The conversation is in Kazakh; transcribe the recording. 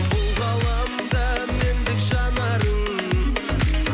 бұл ғаламда мендік жанарың